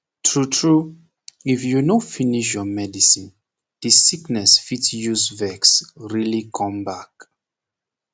tru tru if you no finish you medicine the sickness fit use vex really come back